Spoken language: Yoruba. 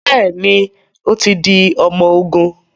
Bẹẹni, o tí di ọmọ ogún